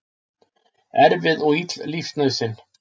Erfið og ill lífsnauðsyn.